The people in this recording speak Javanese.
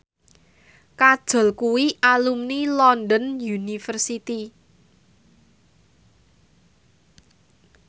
Kajol kuwi alumni London University